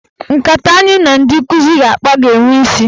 Nkata anyị na ndị nkụzi ga-akpa ga-enwe isi.